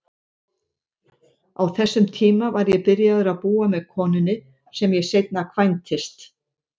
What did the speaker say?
Á þessum tíma var ég byrjaður að búa með konunni sem ég seinna kvæntist.